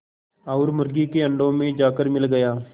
और मुर्गी के अंडों में जाकर मिल गया